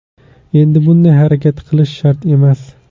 Endi bunday harakat qilish shart emas.